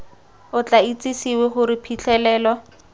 o tla itsisiwe gore phitlhelelo